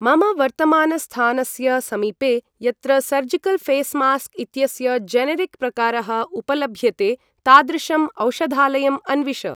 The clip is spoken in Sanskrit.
मम वर्तमानस्थानस्य समीपे यत्र सर्जिकल् ऴेस् मास्क् इत्यस्य जेनेरिक् प्रकारः उपलभ्यते तादृशम् औषधालयम् अन्विष।